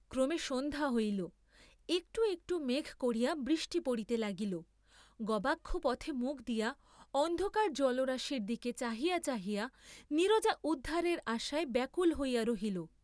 ক্রমে সন্ধ্যা হইল, একটু একটু মেঘ করিয়া বৃষ্টি পড়িতে লাগিল, গবাক্ষপথে মুখ দিয়া অন্ধকার জলরাশির দিকে চাহিয়া চাহিয়া নীরজা উদ্ধারের আশায় ব্যাকুল হইয়া রহিল।